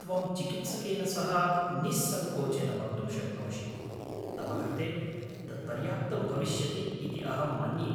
त्वं चिकित्सकेन सह निःसङ्कोचेन वक्तुं शक्नोषि। तव कृते तद् पर्याप्तं भविष्यति इति अहं मन्ये।